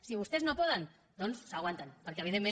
si vostès no poden doncs s’aguanten perquè evidentment